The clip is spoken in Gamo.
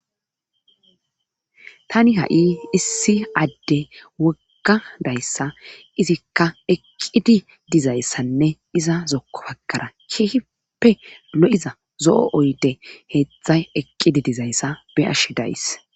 Tani ha7i issi adde wogga dayssa Izikka eqqidayssa iza zokko baggara keehippe lo7iza heedzu oydey eqqidi dayssa be7ashe days